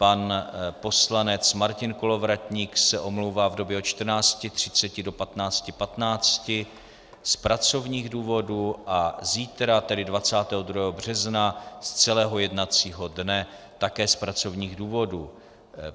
Pan poslanec Martin Kolovratník se omlouvá v době od 14.30 do 15.15 z pracovních důvodů a zítra, tedy 22. března, z celého jednacího dne také z pracovních důvodů.